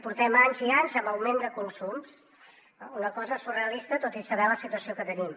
portem anys i anys amb augment de consums una cosa surrealista tot i saber la situació que tenim